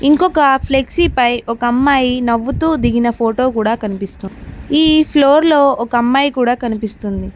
ఇంకొక ఫ్లెక్సీ పై ఒక అమ్మాయి నవ్వుతూ దిగిన ఫోటో కూడా కనిపిస్తోంది ఈ ఫ్లోర్ లో ఒక అమ్మాయి కూడా కనిపిస్తుంది.